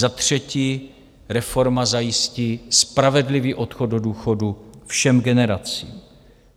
Za třetí, reforma zajistí spravedlivý odchod do důchodu všem generacím.